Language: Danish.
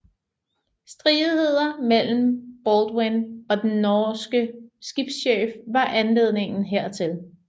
Stridigheder mellem Baldwin og den norske skibschef var anledningen hertil